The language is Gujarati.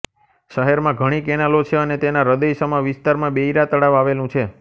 શહેરમાં ઘણી કેનાલો છે અને તેના હૃદયસમા વિસ્તારમાં બેઇરા તળાવ આવેલું છે